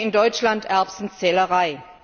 Das nennen wir in Deutschland Erbsenzählerei.